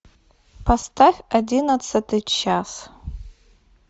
поставь одиннадцатый час